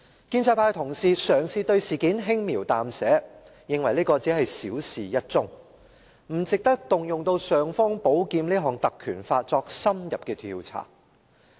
建制派同事嘗試對事件輕描淡寫，認為只是小事一樁，不值得動用"尚方寶劍"——《條例》——作深入調查。